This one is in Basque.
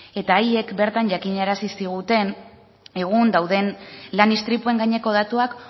eta haiek bertan jakinarazi ziguten egun dauden lan istripuen gaineko datuak